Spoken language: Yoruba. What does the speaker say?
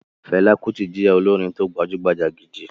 Fẹlá Kutì jẹ́ olórin tí ó gbajúgbajà gidi.